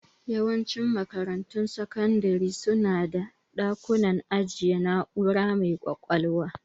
Yawancin makarantun sakandire su na da dakunan ajiyar na'ura mai ƙwaƙwalwa.